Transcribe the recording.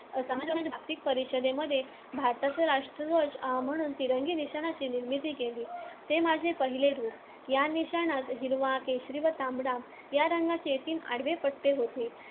समाजवाद्यांच्या जागतिक परिषदेमध्ये भारताचा राष्ट्रध्वज म्हणून तिरंगी निशाणाची निर्मिती केली. ते माझे पहिले रूप. या निशाणात हिरवा, केशरी व तांबडा या रंगांचे तीन आडवे पट्टे होते.